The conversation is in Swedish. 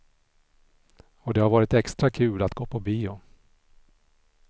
Och det har varit extra kul att gå på bio.